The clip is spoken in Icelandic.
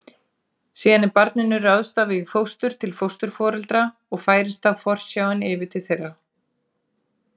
Síðan er barninu ráðstafað í fóstur til fósturforeldra og færist þá forsjáin yfir til þeirra.